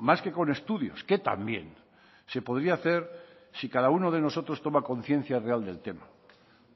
más que con estudios que también se podría hacer si cada uno de nosotros toma conciencia real del tema